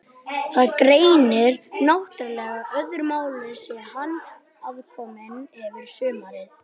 Það gegnir náttúrlega öðru máli sé hann aðkominn yfir sumarið.